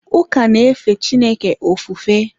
Ụka na-efe Chineke ofufe.